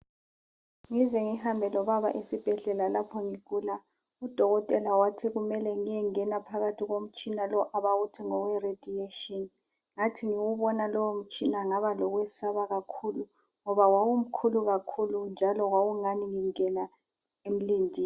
Ngize ngihambe lobaba esibhedlela lapho ngigula udokotela wathi kumele ngiyengena phakathi komtshina abawuthi ngoweRadiation. Ngathi ngiwubona lowomtshina ngaba lokwesaba kakhulu ngoba wawumkhulu kakhulu njalo kwakungani ngingena emlindini.